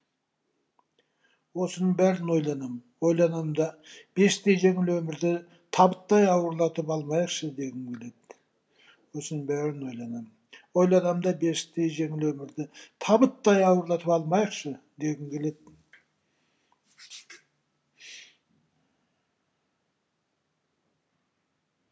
осының бәрін ойланам ойланам да бесіктей жеңіл өмірді табыттай ауырлатып алмайықшы дегім келеді осының бәрін ойланам ойланам да бесіктей жеңіл өмірді табыттай ауырлатып алмайықшы дегім келеді